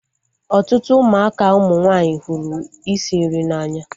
Ọtụtụ ụmụaka ụmụ nwanyị hụrụ isi nri n'anya